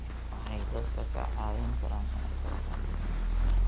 Waxay dadka ka caawin karaan inay bartaan midnimada.